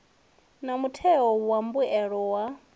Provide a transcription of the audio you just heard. na mutheo wa mbuelo ya